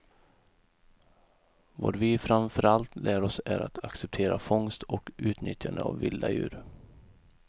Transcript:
Vad vi framför allt lär oss är att acceptera fångst och utnyttjande av vilda djur.